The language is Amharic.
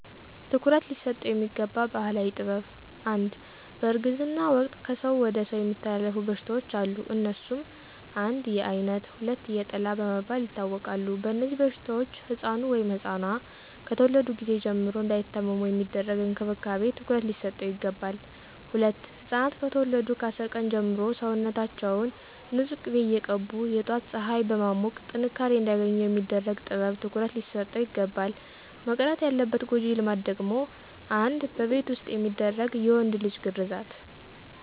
ትኩረት ሊሰጠው የሚገባ ባህላዊ ጥበብ #1, በእርግዝና ወቅት ከሰው ወደ ሰው የሚተላለፉ በሽታዎች አሉ. አነሱም: 1, የአይነት 2, የጥላ በመባል ይታወቃሉ. በእነዚህበሽታዎች ሕፃኑ(ኗ)ከተወለዱ ጊዜ ጀምሮ እንዳይታመሙ የሚደረግ እንክብካቤ ትኩረት ሊሰጠው ይገባል. #2, ሕፃናት ከተወለዱ ከ10 ቀን ጀምሮ ሰውነታችውን ንፁህ ቂቤ እየቀቡ የጧት ፀሐይ በማሞቅ ጥንካሬ አንዲያገኙ የሚደረግ ጥበብ ትኩረት ሊሰጠው ይግባላል. መቅረት ያለባት ጎጂ ልማድ ደግሞ: 1, በቤት ዉስጥ የሚደረግ የወንድ ልጅ ግርዛት